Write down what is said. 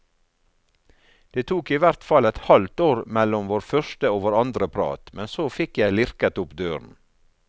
Det tok i hvert fall et halvt år mellom vår første og vår andre prat, men så fikk jeg lirket opp døren.